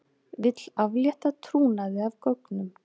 Vill aflétta trúnaði af gögnum